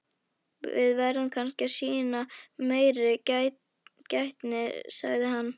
Við verðum kannski að sýna meiri gætni sagði hann.